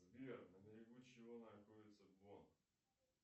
сбер на берегу чего находится бонн